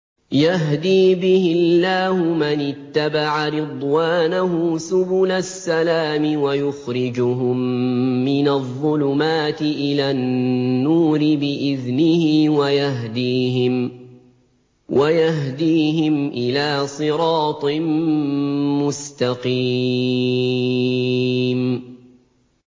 يَهْدِي بِهِ اللَّهُ مَنِ اتَّبَعَ رِضْوَانَهُ سُبُلَ السَّلَامِ وَيُخْرِجُهُم مِّنَ الظُّلُمَاتِ إِلَى النُّورِ بِإِذْنِهِ وَيَهْدِيهِمْ إِلَىٰ صِرَاطٍ مُّسْتَقِيمٍ